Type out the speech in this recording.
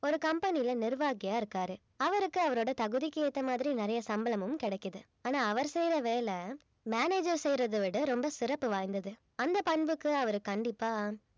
ஒரு company ல நிர்வாகியா இருக்காரு அவருக்கு அவரோட தகுதிக்கு ஏத்த மாதிரி நிறைய சம்பளமும் கிடைக்குது ஆனா அவர் செய்ற வேலை manager செய்யறதை விட ரொம்ப சிறப்பு வாய்ந்தது அந்த பண்புக்கு அவர் கண்டிப்பா